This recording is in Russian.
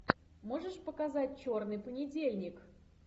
можешь показать черный понедельник